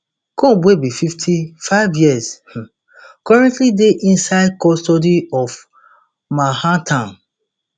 combs wey be fifty-five years um currently dey inside custody for manhattan